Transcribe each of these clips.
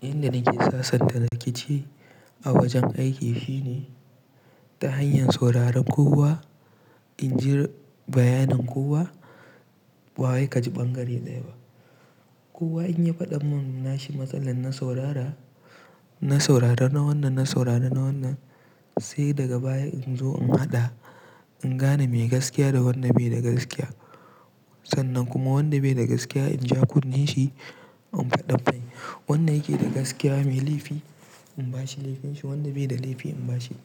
Inda nake sasanta rikici a wajen aiki shine ta hanyar sauraron kowa, in ji bayanan kowa ba wai kaji ɓangare ɗaya ba. Kowa in ya faɗa mun nashi matsalan na saurara, na saurara na wannan, na saurara na wannan sai daga baya in zo in haɗa. In gane me gaskiya da wanda be da gaskiya sannan kuma wanda be da gaskiya in ja kunne shi in faɗa mai. Wanda yake da gaskiya mai laifi in bashi laifinshi, wanda be da laifi in bashi,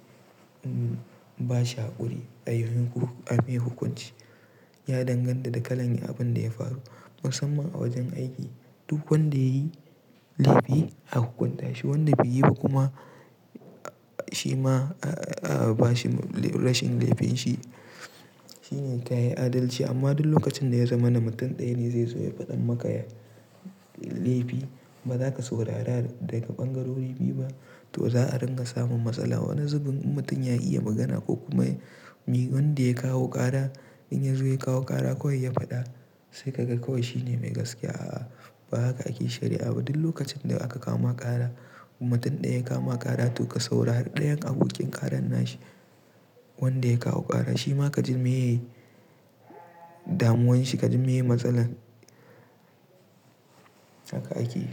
in bashi haƙuri a mai makon in me hukunci. Ya danganta da kalan abin da ya faru musamman a wajen aiki. Duk wanda yayi laifi a hukunta shi wanda be yi ba kuma shi ma a ba shi rashin laifinshi. Shine tayi adalci amma duk lokacin da ya zama na mutum ɗaya ne zai zo ya faɗa maka laifi baza ka saurara daga ɓangarori biyu ba to za a ringa samun matsala. Wani zubin in mutum ya iya magana ko kuma wanda ya kawo ƙara in ya zo ya kawo ƙara kawai ya faɗa sai ka ga kawai shine mai gaskiya a ba haka ake sharya abu ba duk lokacin da aka kama ƙara kuma mutum ɗaya ya kama ƙara to ka saurari ɗayan abokin ƙaran nashi wanda ya kawo ƙara shi ma ka ji meye damuwan shi ka ji meye matsalar haka ake yi.